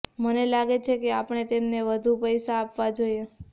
મને લાગે છે કે આપણે તેમને વધુ પૈસા આપવા જોઈએ